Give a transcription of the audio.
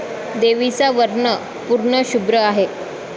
देवीचा वर्ण पूर्ण शुभ्र आहे.